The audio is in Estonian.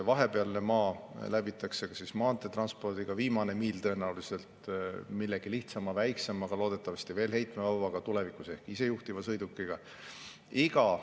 Vahepealne maa läbitakse maanteed pidi, viimane miil tõenäoliselt millegi lihtsama ja väiksemaga, loodetavasti veel heitevabamaga, tulevikus ehk isejuhtiva sõidukiga.